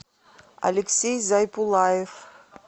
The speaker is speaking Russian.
алексей зайпулаев